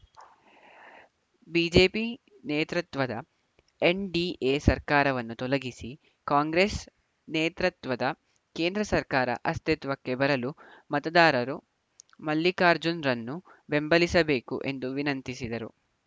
BJP ನೇತೃತ್ವದ NDA ಸರ್ಕಾರವನ್ನು ತೊಲಗಿಸಿ ಕಾಂಗ್ರೆಸ್‌ ನೇತೃತ್ವದ ಕೇಂದ್ರ ಸರ್ಕಾರ ಅಸ್ತಿತ್ವಕ್ಕೆ ಬರಲು ಮತದಾರರು ಮಲ್ಲಿಕಾರ್ಜುನ್‌ರನ್ನು ಬೆಂಬಲಿಸಬೇಕು ಎಂದು ವಿನಂತಿಸಿದರು